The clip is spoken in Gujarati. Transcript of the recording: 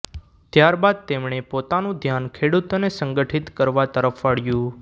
ત્યાર બાદ તેમણે પોતાનું ધ્યાન ખેડૂતોને સંગઠિત કરવા તરફ વાળ્યું